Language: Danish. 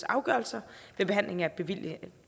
afgørelser ved behandling af bevillingssager